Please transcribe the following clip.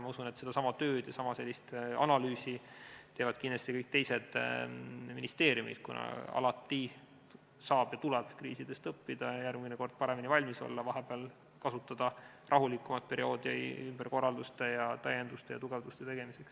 Ma usun, et sedasama tööd ja sellist analüüsi teevad kindlasti ka kõik teised ministeeriumid, kuna alati saab ja tuleb kriisidest õppida, järgmine kord paremini valmis olla, kasutada vahepealset rahulikumat perioodi ümberkorralduste, täienduste ja tugevduste tegemiseks.